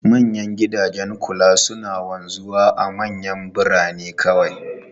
Manyan gidajen kula suna wanzuwa a manyan birane kawai.